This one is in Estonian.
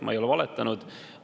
Ma ei ole valetanud.